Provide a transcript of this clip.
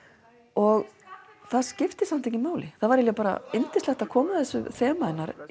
og það skipti samt ekki máli það var eiginlega bara yndislegt að koma að þessu þema hennar